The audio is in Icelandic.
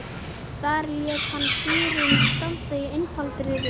Þar lét hann dýrin standa í einfaldri röð.